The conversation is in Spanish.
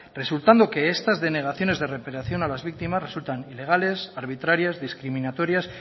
resultando que estas denegaciones de reparación a las víctimas resultan ilegales arbitrarias discriminatorias